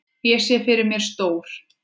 Ég sé fyrir mér stór